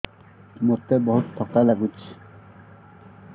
ମୋତେ ବହୁତ୍ ଥକା ଲାଗୁଛି